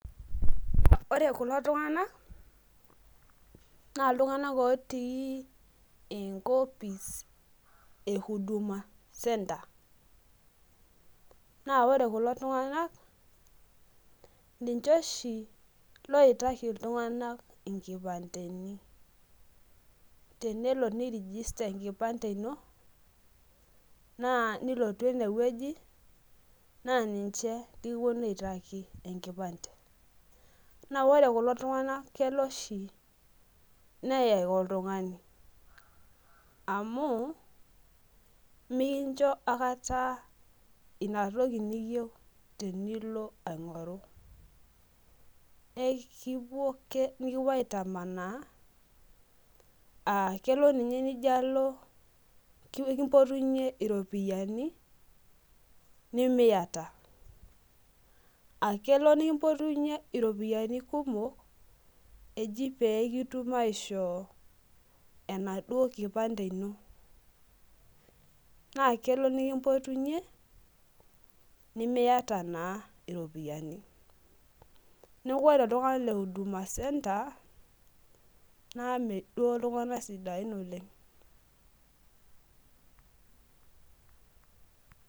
ore ulo tungank na iltunganak otii enkopis e huduma centere .naa ore kulo tunganak ninche loitaiki iltunganak inkipandeni. tenelo ni[csregister enkipane ino naa nilotu ene wueji, naa ninche likipuonu aiataki enkipande. naa ore kulo tungank keya shi neyek oltungani, amu mikincho aikata ina toki niyieu tenilo aing'oru, ekipuo ake nikipuo aitamanaa.aa kelo ninye nijo alo ekimpotunye iropiyani nimiata.aa kelo nikimpotunyeki iropiyiani pee kitum aishoo enaduoo kipande, ino. naa kelo nikimpotunye nimiata naa iropiyiani. neeku ore iltunganak le huduma center naa mme duo iltunganak siain oleng.